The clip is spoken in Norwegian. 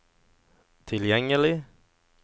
tilgjengelig